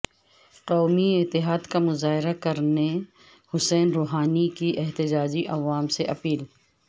قومی اتحاد کا مظاہرہ کرنے حسن روحانی کی احتجاجی عوام سے اپیل